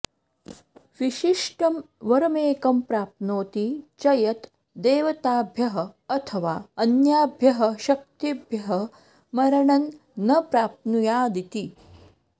विशिष्टं वरमेकं प्राप्नोति च यत् देवताभ्यः अथवा अन्याभ्यः शक्तिभ्यः मरणं न प्राप्नुयादिति